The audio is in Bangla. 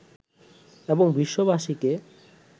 এবং বিশ্ববাসীকে